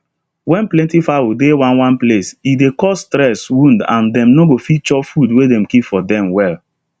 when plenty fowl dey one one place e dey cause stress wound and dem no go fit chop food wey dem keep for dem well